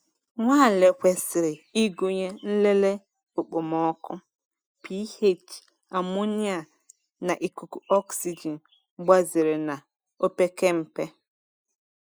Nnwale kwesịrị ịgụnye nlele okpomọkụ, pH, amonia, na ikuku oxygen gbazere na opekempe.